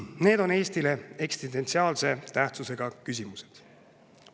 Need on Eestile eksistentsiaalse tähtsusega küsimused.